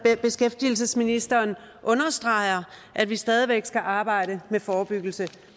at beskæftigelsesministeren understreger at vi stadig væk skal arbejde med forebyggelse